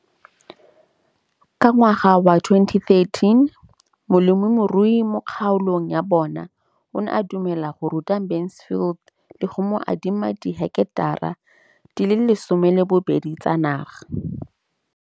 Ka ngwaga wa 2013, molemirui mo kgaolong ya bona o ne a dumela go ruta Mansfield le go mo adima di heketara di le 12 tsa naga.